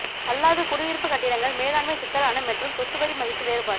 அல்லாத குடியிருப்பு கட்டிடங்கள் மேலாண்மை சிக்கலான மற்றும் சொத்து வரி மதிப்பு வேறுபாடு